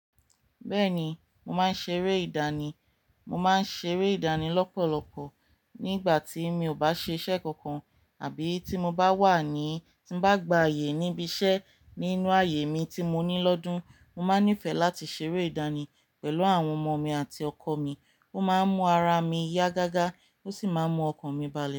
Bẹ́ẹ̀ni, mò máa ń ṣeré ìdánì. Mò máa ń ṣeré ìdánì lọ́pọ̀lọpọ̀ nígbà tí mi ò bá ṣe iṣẹ́ kankan àbí tí mo bá wà ní, tí n bá gba ààyè níbi iṣẹ́. Nínú ààyè mi tí mo ní lọ́dún, mo máa nífẹ̀ẹ́ láti ṣeré ìdánì pẹ̀lú àwọn ọmọ mi àti ọkọ mi. Ó máa ń mú ara mi yá gágá ó sì máa ń mú ọkàn mi balẹ̀